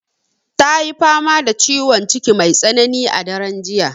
Ta yi fama da ciwon ciki mai tsanani a daren jiya.